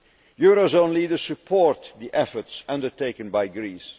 Euro area leaders support the efforts undertaken by